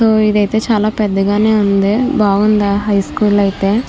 ఇది అయతే చాల పెద్దగ నే ఉంది బాగుంది హై స్కూల్ అయితే --